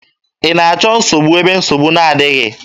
Ị na-achọ nsogbu ebe nsogbu na-adịghị?